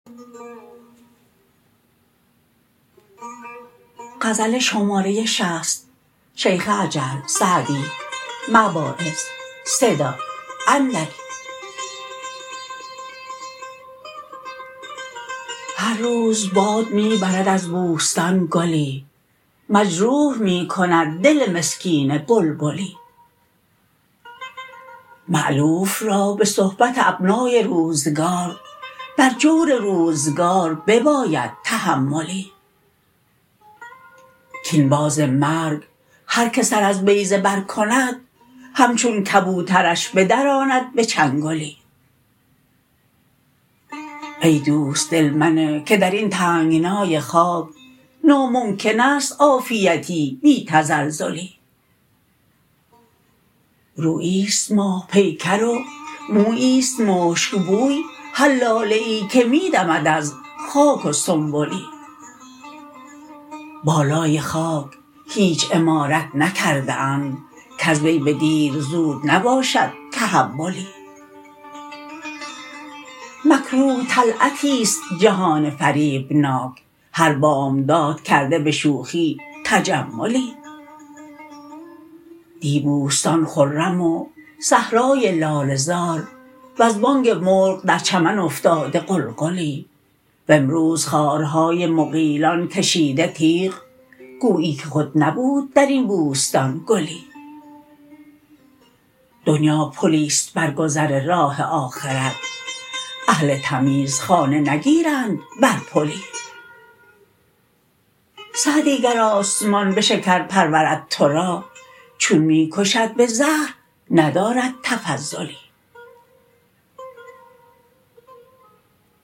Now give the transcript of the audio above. هر روز باد می برد از بوستان گلی مجروح می کند دل مسکین بلبلی مألوف را به صحبت ابنای روزگار بر جور روزگار بباید تحملی کاین باز مرگ هر که سر از بیضه بر کند همچون کبوترش بدراند به چنگلی ای دوست دل منه که در این تنگنای خاک ناممکن است عافیتی بی تزلزلی روییست ماه پیکر و موییست مشکبوی هر لاله ای که می دمد از خاک و سنبلی بالای خاک هیچ عمارت نکرده اند کز وی به دیر زود نباشد تحولی مکروه طلعتیست جهان فریبناک هر بامداد کرده به شوخی تجملی دی بوستان خرم و صحرای لاله زار وز بانگ مرغ در چمن افتاده غلغلی و امروز خارهای مغیلان کشیده تیغ گویی که خود نبود در این بوستان گلی دنیا پلیست بر گذر راه آخرت اهل تمیز خانه نگیرند بر پلی سعدی گر آسمان به شکر پرورد تو را چون می کشد به زهر ندارد تفضلی